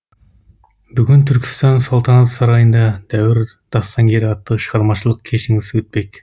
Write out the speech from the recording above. бүгін түркістан салтанат сарайында дәуір дастангері атты шығармашылық кешіңіз өтпек